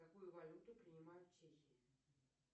какую валюту принимают в чехии